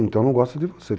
Então não gosta de você.